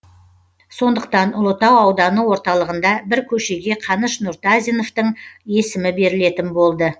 сондықтан ұлытау ауданы орталығында бір көшеге қаныш нұртазиновтың есімі берілетін болды